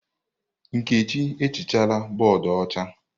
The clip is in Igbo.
Nkechi ehichala bọọdụ ọcha.